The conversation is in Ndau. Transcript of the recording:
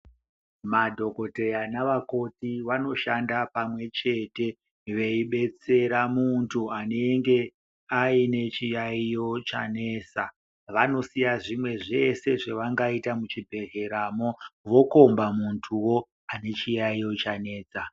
Madhokoteya nava koti vanoshanda pamwechete veibetsera muntu anenge aine chiyaiyo chanesa. Vanosiya zvimwe zveshe zvavangaita muchibhedhleramo vokomba muntuwo, anechiyaiyo chanetsa.